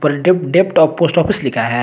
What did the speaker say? Depp डेप post office लिखा है।